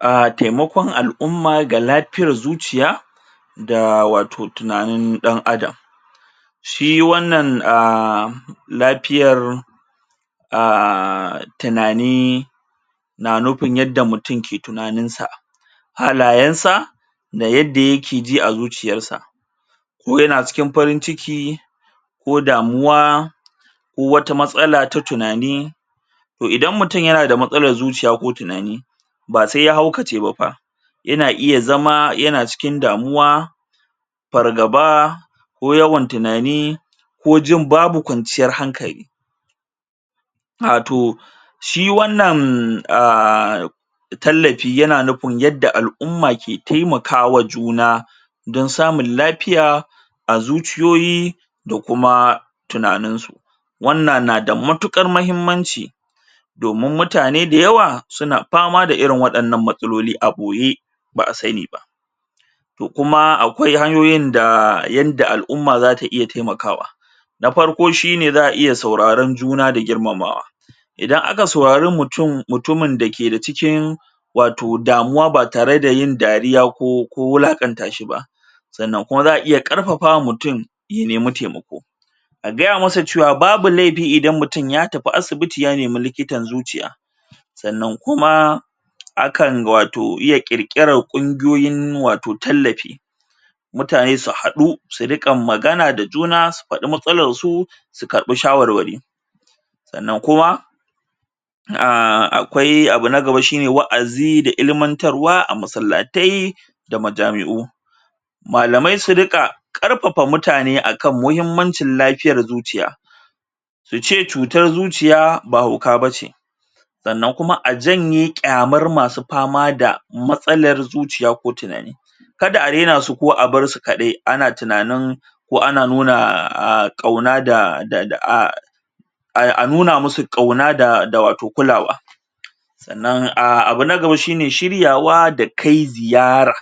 A taimakon al'umma ga lafiyar zuciya da wato tunanin ɗan Adam shi wannan aaa lafiyar aaa tunani na nufin yadda mutum ke tunanin sa halayen sa da yadda yake ji a zuciyan sa wani na cikin farin ciki ko damuwa ko wata matsala ta tunani to idan mutum yana da matsalan zuciya ko tunani ba sai ya haukace ba fa yana iya zama yana cikin damuwa fargaba ko yawan tunani ko jin babu kwanciyar hankali wato shi wannan um tallafi yana nufin yadda al'umma ke taimaka wa juna don samun lafiya a zuciyoyi da kuma tunanin su wannan na da matuƙar muhimmanci domin mutane da yawa suna fama da wa'innan matsaloli a ɓoye ba'a sani ba to kuma akwai hanyoyin da yanda al'umma za ta iya taimakawa na farko shine za a iya sauraron juna da girmamawa idan aka saurari mutum mutumin da ke da cikin wato damuwa ba tare da yin dariya ko ko wulaƙanta shi ba sannan kuma za a iya ƙarfafa ma mutum ya nemi taimako a gaya masa cewa babu laifi idan mutum ya tafi asibiti ya nemi likitan zuciya sannan kuma akan wato iya ƙirƙiran kungiyoyin wato tallafi mutane su haɗu su ria magana da juna su faɗi matsalan su su karɓi shawarwari sannan kuma um akwai abu na gaba shine wa'azi da ilimantarwa a masallatai da ma jami'u malamai su riƙa ƙarfafa mutane akan muhimmancin lafiyar zuciya su ce cutar zuciya ba hauka bace sannan kuma a janye ƙyamar ma su fama da matsalar zuciya ko tunani kada a raina su ko a barsu kaɗai ana tunanin ko ana nuna a ƙauna da da a ai a nuna musu ƙauna da wato kulawa sannan a abu na gaba shine shiryawa da kai ziyara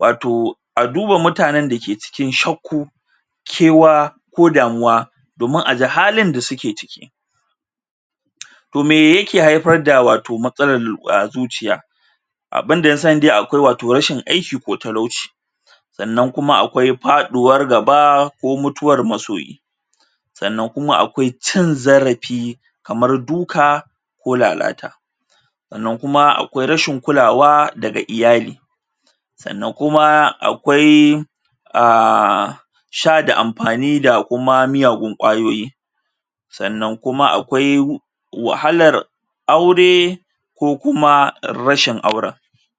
wato a duba mutanen da ke cikin shakku kewa ko damuwa domin a ji halin da suke ciki to me yake haifar wato matsalar a zuciya abinda na sani dai akwai wato rashin aiki ko talauci sannan kuma akwai faɗuwar gaba ko mutuwar masoyi sannan kuma akwai cin zarafi kamar duka ko lalata sannan kuma akwai rashin kulawa daga iyali sannan kuma akwai um sha da amfani da kuma miyagun kwayoyi sannan kuma akwai wahalar aure ko kuma rashin auren.